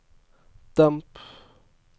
demp